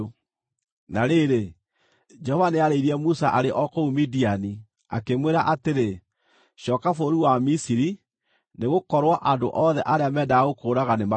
Na rĩrĩ, Jehova nĩarĩirie Musa arĩ o kũu Midiani, akĩmwĩra atĩrĩ, “Cooka bũrũri wa Misiri, nĩgũkorwo andũ othe arĩa meendaga gũkũũraga nĩmakuĩte.”